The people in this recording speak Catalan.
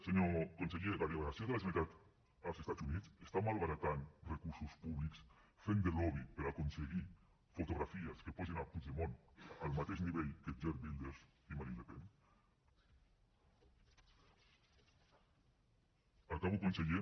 senyor conseller la delegació de la generalitat als estats units està malbaratant recursos públics fent de lobby per aconseguir fotografies que posin puigdemont al mateix nivell que geert wilders i marine le pen acabo conseller